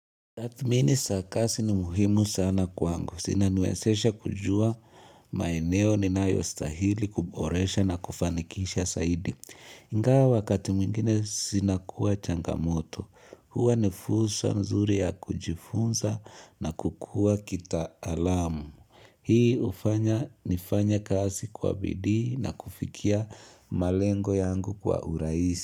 Tathmini za kazi ni muhimu sana kwangu. Zinaniwezesha kujua maeneo ninayostahili kuboresha na kufanikisha zaidi. Ingawa wakati mwingine zinakuwa changamoto. Huwa ni fursa mzuri ya kujifunza na kukuwa kita alamu. Hii hufanya nifanye kazi kwa bidii na kufikia malengo yangu kwa urahisi.